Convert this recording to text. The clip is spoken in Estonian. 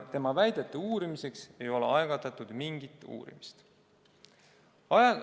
Tema väidete uurimiseks ei ole algatatud mingit uurimist.